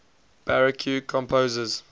baroque composers